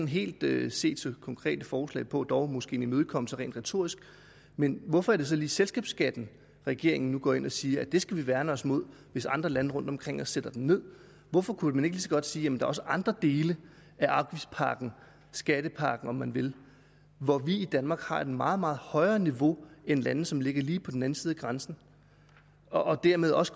helt set konkrete forslag på men dog måske en imødekommelse rent retorisk hvorfor er det så lige selskabsskatten at regeringen nu går ind og siger det skal vi værne os imod hvis andre lande rundt omkring os sætter den ned hvorfor kunne man ikke lige så godt sige at der også er andre dele af afgiftspakken skattepakken om man vil hvor vi i danmark har et meget meget højere niveau end lande som ligger lige på den anden side af grænsen og dermed også